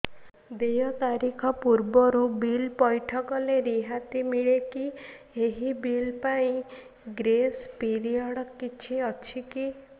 ଦେୟ ତାରିଖ ପୂର୍ବରୁ ବିଲ୍ ପୈଠ କଲେ ରିହାତି ମିଲେକି ଏହି ବିଲ୍ ପାଇଁ ଗ୍ରେସ୍ ପିରିୟଡ଼ କିଛି ଅଛିକି